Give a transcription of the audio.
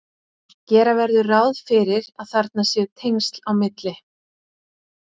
gera verður ráð fyrir að þarna séu tengsl á milli